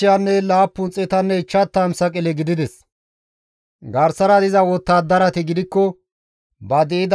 Garsara diza wottadarati gidikko ba di7idayssa baas baas ekki bida.